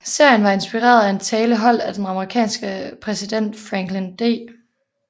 Serien var inspireret af en tale holdt af den amerikanske præsident Franklin D